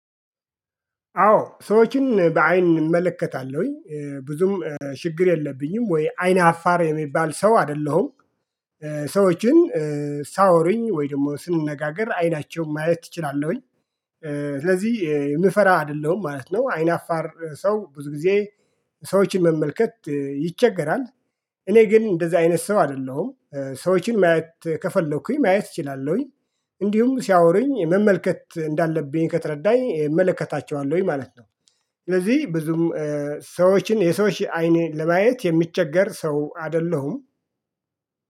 አዎ ሰዎችን በአይን እመለከታለሁኝ ብዙም ችግር የለብኝም ወይ አይነ አፋር የምባል ሰው አይደለሁም። ሰዎችን ሳወሩኝ ወይ ደግሞ ስንነጋገር አይናቸውን ማየት እችላለሁኝ። ስለዚህ የምፈራ አይደለሁም ማለት ነው። አይናፋር ሰው ብዙ ጊዜ ሰዎችን መመልከት ይቸገራል። እኔ ግን እንደዚህ አይነት ሰው አይደለሁም ሰዎችን ማየት ከፈለኩኝ ማየት እችላለሁኝ። እንዲሁም ሲያወሩኝ መመልከት እንዳለብኝ ከተረዳኝ እመለከታቸዋለሁኝ ማለት ነው። ስለዚህ ብዙም ሰዎችን የሰዎች አይኔ ለማየት የሚቸገር ሰው አይደለሁም